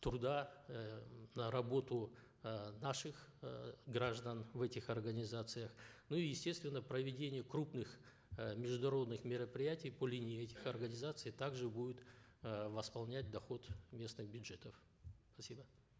труда э на работу э наших э граждан в этих организациях ну и естественно проведение крупных э международных мероприятий по линии этих организаций также будет э восполнять доход местных бюджетов спасибо